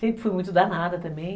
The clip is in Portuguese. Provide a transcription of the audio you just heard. Sempre fui muito danada também.